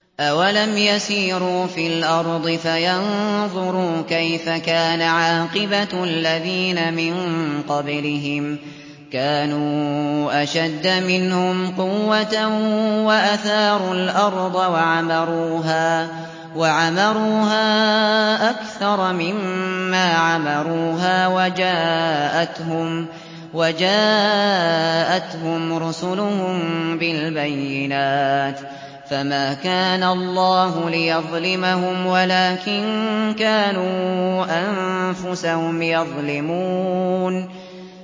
أَوَلَمْ يَسِيرُوا فِي الْأَرْضِ فَيَنظُرُوا كَيْفَ كَانَ عَاقِبَةُ الَّذِينَ مِن قَبْلِهِمْ ۚ كَانُوا أَشَدَّ مِنْهُمْ قُوَّةً وَأَثَارُوا الْأَرْضَ وَعَمَرُوهَا أَكْثَرَ مِمَّا عَمَرُوهَا وَجَاءَتْهُمْ رُسُلُهُم بِالْبَيِّنَاتِ ۖ فَمَا كَانَ اللَّهُ لِيَظْلِمَهُمْ وَلَٰكِن كَانُوا أَنفُسَهُمْ يَظْلِمُونَ